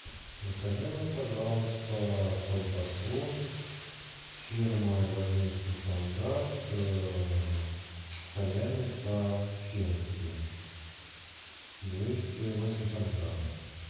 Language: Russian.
закажи мне пожалуйста колбасу фирмы владимирский стандарт салями по фински двести восемьдесят грамм